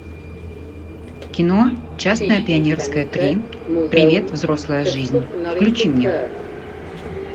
кино честное пионерское три привет взрослая жизнь включи мне